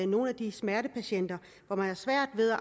nogle af de smertepatienter hvor man har svært ved at